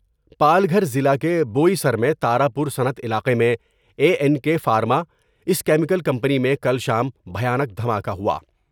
پال گھر ضلع کے بوئی سر میں تارا پورصنعت علاقے میں اے این کے فارما اس کیمیکل کمپنی میں کل شام بھیانک دھما کہ ہوا ۔